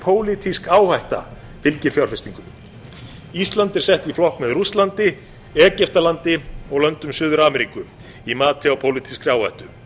pólitísk áhætta fylgir fjárfestingum ísland er sett í flokk með rússlandi egyptalandi og löndum suður ameríku í mati á pólitískri áhættu